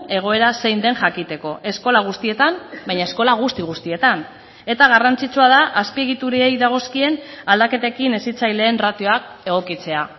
egoera zein den jakiteko eskola guztietan baina eskola guzti guztietan eta garrantzitsua da azpiegiturei dagozkien aldaketekin hezitzaileen ratioak egokitzea